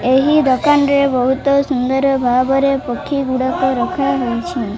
ଏହି ଦୋକାନରେ ବହୁତ ବାବରିଆ ପକ୍ଷୀ ଗୁଡ଼ାକ ଦେଖାଯାଉଚି ।